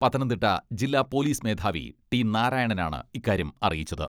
പത്തനംതിട്ട ജില്ലാ പോലിസ് മേധാവി ടി നാരായണനാണ് ഇക്കാര്യം അറിയിച്ചത്.